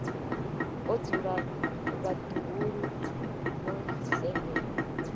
o dzula vhaḓuhulu vho sendela